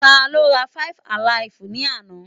Tá ló rá five-alaifu ni àna?